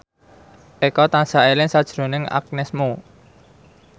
Eko tansah eling sakjroning Agnes Mo